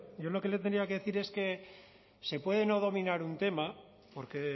yo lo que le tenría que decir es que se puede no dominar un tema porque